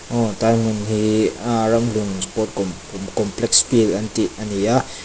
aw tai hmun hi a ramhlun sport kawm kawm complex field an tih ani a.